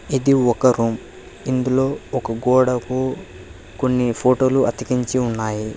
ఇది ఒక రూమ్ ఇందులో ఒక గోడకు కొన్ని ఫోటో లు అతికించి ఉన్నాయి.